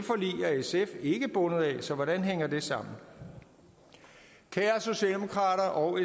sf ikke bundet af så hvordan hænger det sammen kære socialdemokrater og